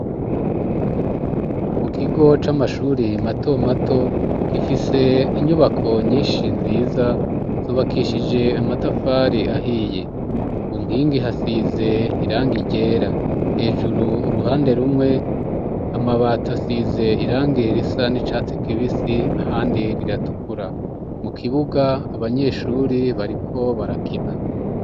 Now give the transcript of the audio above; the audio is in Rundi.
Mu kigo c'amashuri mato mato, gifise inyubako nyinshi nziza zubakishije amatafari ahiye, ku nkingi hasize irangi ryera, hejuru uruhande rumwe amabati asize irangi risa n'icatsi kibisi, ahandi riratukura, mu kibuga abanyeshuri bariko barakina.